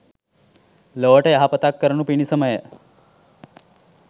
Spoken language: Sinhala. ලොවට යහපතක් කරනු පිණිස මය